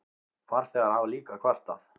Farþegar hafa líka kvartað.